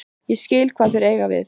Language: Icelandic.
Ég skil hvað þeir eiga við.